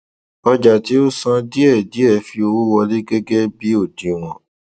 ọjà tí ó san díẹdiẹ fi owó wọlé gẹgẹ bí odiwọn